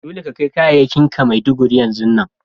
Dolle ka kai kayakin ka Maiduguri yanzun nan!